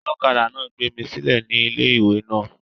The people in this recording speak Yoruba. olokada náà gbé mí sílè ní ilé-ìwé náà